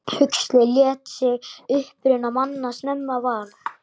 Huxley lét sig uppruna manna snemma varða.